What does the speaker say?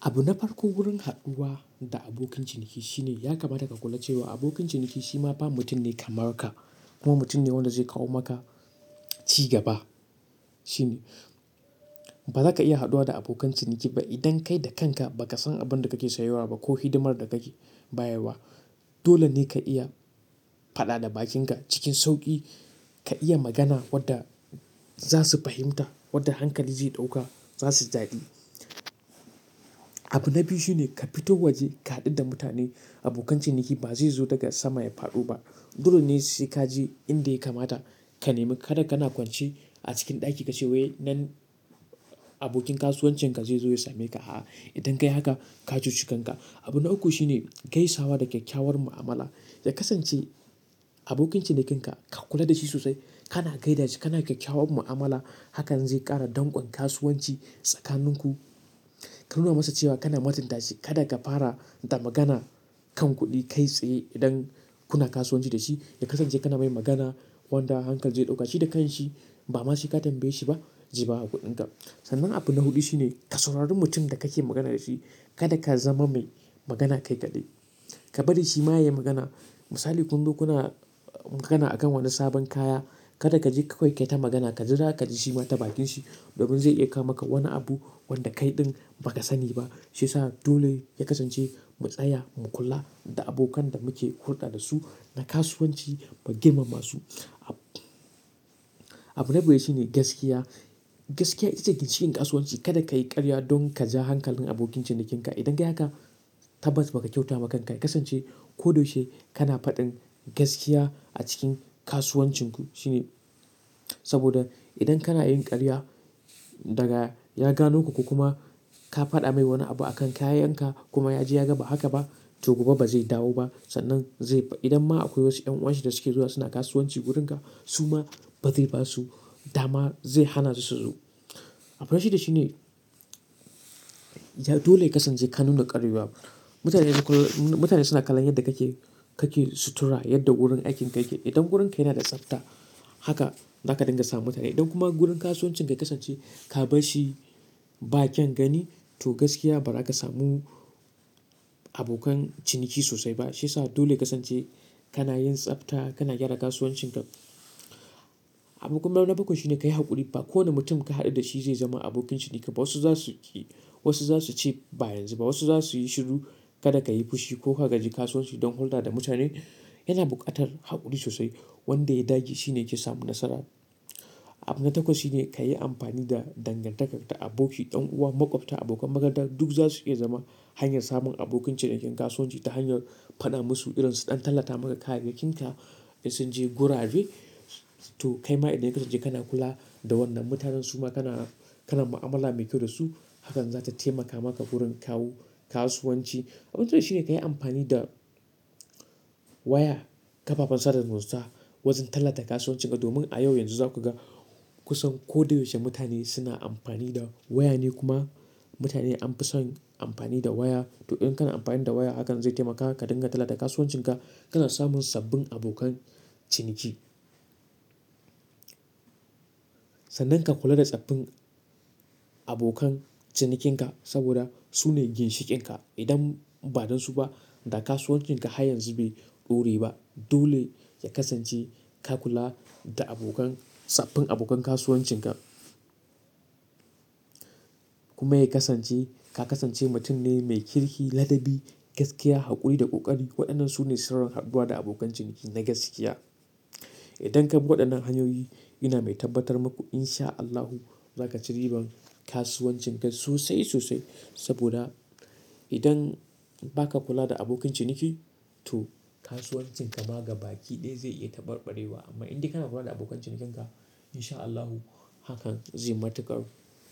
Abu na farko wurin haɗuwa da abokin ciniki shine ya kamata ka kula cewa abokin ciniki shi ma ba mutum ne kamar ka kuma mutum ne wanda zai kawo maka cigaba shine. Ba za ka iya haɗuwa da abokan ciniki ba idan kai da kanka ba ka san abin da kake sayarwa ba ko hidimar da kake bayarwa. Dole ne ka iya faɗa da bakinka cikin sauƙi, ka iya magana wadda za su fahimta, wadda hankali zai ɗauka, za su ji daɗi. Abu na biyu shine ka fito waje ka haɗu da mutane. Abokan ciniki babzai zo daga sama ya fado ba dole ne sai ka je inda ya kamata ka nemi. Kada kana kwance a cikin ɗaki ka ce wai nan abokin kasuwancin ka zai zo ya same ka. A'a, idan ka yi haka ka cuce kanka. Abu na uku shine gaisawa da kyakkyawar mu'amala. Yakasance abokin cinikinka ka kula da shi sosai, kana gaida shi, kana kyakkyawar mu'amala, hakan zai ƙara danƙon kasuwanci tsakanin ku. Ka nuna masa cewa kana matinta shi. Kada ka fara da magana kan kuɗi kai tsaye idan kuna kasuwanci da shi. Yakasance kana mai magana wanda hankal zai ɗauka shi da kanshi ba ma shi ka tambaye shi ba, ji baya kuɗin ka. Sannan abu na hudu shine ka saurari mutum da kake magana da shi. Kada ka zama mai magana kai kaɗai. Ka bari shi ma ya yi magana. Misali kunzo kuna magana akan wani sabon kaya, kada ka je ka kai ta magana. Ka jira ka ji shi ma ta bakin shi domin zai iya kawo maka wani abu wanda kai ɗin ba ka sani ba. Shi ya sa dole yakasance mu tsaya mu kula da abokan da muke hulɗa da su na kasuwanci mu girmama su. Abu na biyar shine gaskiya. Gaskiya ita ce ginshiƙin kasuwanci. Kada ka yi ƙarya don ka ja hankalin abokin cinikinka. Idan ka yi haka tabbas ba ka kyauta makan ka. Yakasance ko da yaushe kana faɗin gaskiya a cikin kasuwancin ku shine. Saboda idan kana yin ƙarya daga yaga nuku ku kuma ka faɗa mai wani abu akan kayan ka kuma ya ji ya ga ba haka ba, to gobe ba zai dawo ba. Sannan zai-- idan ma akwai wasu 'yan uwan shi da suke zuwa suna kasuwanci wurin ka, su ma ba zai ba su dama zai hana su su zo. Abu na shida shine dole yakasance ka nuna ƙarya. Mutane suna kalon yadda kake sutura, yadda wurin aikin ka yake. Idan wurin ka yana da tsafta, haka za ka dinga samun mutane. Idan kuma wurin kasuwancin ka yakasance ka bashi bakyan gani to gaskiya ba za ka samu abokan ciniki sosai ba. Shi sa dole yakasance kana yin tsafta, kana gyara kasuwancin ka. Abun kuma na bakwai shine ka ya hakuri ba kowani mutum ka haddu da shi zai zama abokin ciniki ba wasu za su ƙi, wasu za su ce ba yanzu ba, wasu za su yi shiru. Kada ka yi fushi ko ka gaji kasuwanci don hulɗa da mutane. Yana buƙatar haƙuri sosai. Wanda ya dage shi ne yake samun nasara. Abu na takwas shine ka yi amfani da dangantaka da aboki, ɗan uwa, maƙwabta, abokan magada. Duk za su iya zama hanyar samun abokin cinikin kasuwanci ta hanyar faɗa musu irin su ɗan tallata maka kayayyakin ka, ya sun je gurabe. To kai ma idan yakasance kana kula da wannan mutanen su ma kana mu'amala mai kyau da su, hakan za ta taimaka maka wurin kawo kasuwanci. Abu na tara shine ka yi amfani da waya, kafafen sada zumunta wajen tallata kasuwancin ka. Domin a yau yanzu za ku ga kusan ko da yaushe mutane suna amfani da waya ne kuma mutane an fi son amfani da waya. To idan kana amfani da waya hakan zai taimaka ka dinga tallata kasuwancin ka, kana samun sabbin abokan ciniki. Sannan ka kula da tsaffin abokan cinikin ka saboda su ne ginshiƙin ka. Idan ba dan su ba, da kasuwancin ka har yanzu bai ɗore ba. Dole yakasance ka kula da sabbin abokan kasuwancin ka. Kuma yakasance ka kasance mutum ne mai kirki, ladabi, gaskiya, haƙuri da ƙoƙari. Waɗannan su ne sirrin haɗuwa da abokan ciniki na gaskiya. Idan ka bi waɗannan hanyoyi ina mai tabbatar maku in sha Allahu za ka ci ribar kasuwancin ka sosai sosai. Saboda idan ba ka kula da abokan ciniki to kasuwancin ka ma gabaki ɗaya zai iya taɓarɓarewa amma inde kana kula da abokan cinikin ka in sha Allahu hakan zai matuƙar